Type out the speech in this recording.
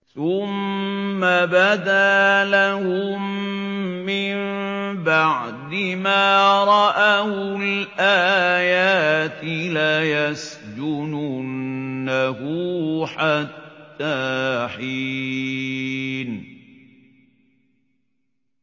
ثُمَّ بَدَا لَهُم مِّن بَعْدِ مَا رَأَوُا الْآيَاتِ لَيَسْجُنُنَّهُ حَتَّىٰ حِينٍ